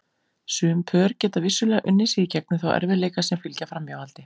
Sum pör geta vissulega unnið sig í gegnum þá erfiðleika sem fylgja framhjáhaldi.